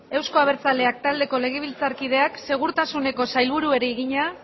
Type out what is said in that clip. euzko abertzaleak taldeko legebiltzarkideak segurtasuneko sailburuari egina